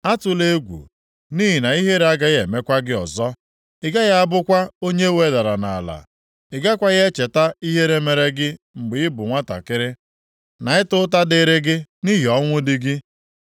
“Atụla egwu, nʼihi na ihere agaghị emekwa gị ọzọ. Ị gaghị abụkwa onye e wedara nʼala. Ị gakwaghị echeta ihere mere gị mgbe ị bụ nwantakịrị, na ịta ụta dịrị gị nʼihi ọnwụ di gị.